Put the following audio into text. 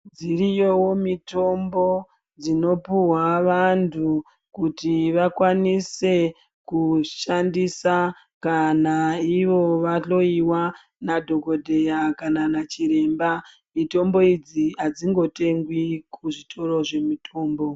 Dziriyo mitombo dzinopuhwa vantu kuti vakwanise kushandisa kana ivo vahloiwa nadhogodheya kana nachiremba. Mitombo idzi hadzingotengwi kuzvitoro zvemitombo.